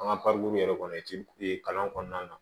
An ka yɛrɛ kɔnɔ ci kalan kɔnɔna na